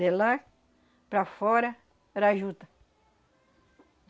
De lá para fora era juta.